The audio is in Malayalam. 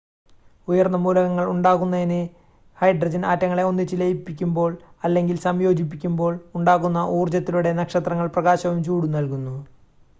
ഉയർന്ന മൂലകങ്ങൾ ഉണ്ടാകുന്നതിന് ഹൈഡ്രജൻ ആറ്റങ്ങളെ ഒന്നിച്ച് ലയിപ്പിക്കുമ്പോൾ അല്ലെങ്കിൽ സംയോജിപ്പിക്കുമ്പോൾ ഉണ്ടാകുന്ന ഊർജ്ജത്തിലൂടെ നക്ഷത്രങ്ങൾ പ്രകാശവും ചൂടും നൽകുന്നു